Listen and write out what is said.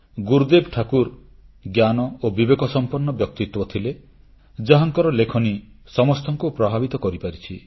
ଗୁରୁଦେବ ଠାକୁର ଜ୍ଞାନ ଓ ବିବେକସମ୍ପନ୍ନ ବ୍ୟକ୍ତିତ୍ୱ ଥିଲେ ଯାହାଙ୍କର ଲେଖନୀ ସମସ୍ତଙ୍କୁ ପ୍ରଭାବିତ କରିପାରିଛି